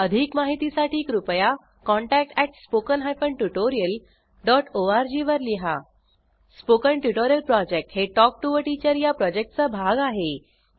अधिक माहितीसाठी कृपया contact at spoken hyphen tutorial dot ORG वर लिहा स्पोकन ट्युटोरियल प्रॉजेक्ट हे टॉक टू टीचर या प्रॉजेक्टचा भाग आहे